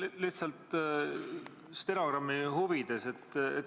Märgin lihtsalt stenogrammi huvides.